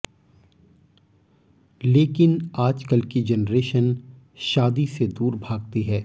लेकिन आजकल की जनरेशन शादी से दूर भागती है